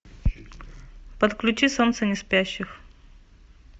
подключи солнце не спящих